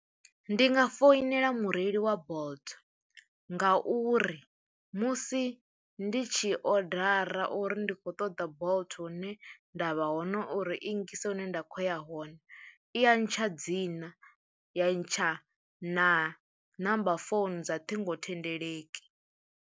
Ndi nga foinela mureili wa Bolt ngauri musi ndi tshi odara uri ndi khou ṱoḓa Bolt hune nda vha hone uri i ngise hune nda khou ya hone i ya ntsha dzina, ya ntsha na namba founu dza ṱhingothendeleki.